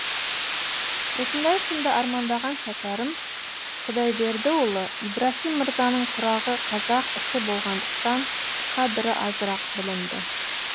осындай күнді армандаған шәкәрім құдайбердіұлы ибраһим мырзаның тұрағы қазақ іші болғандықтан қадірі азырақ білінді